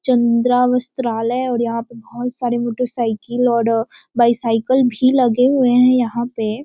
चंद्रा वस्त्रालय और यहाँ पे बहोत सारे मोटर साइकिल आर बाईसाइकिल भी लगे हुए हैं यहाँ पे।